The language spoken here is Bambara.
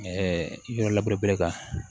yɔrɔ laburere kan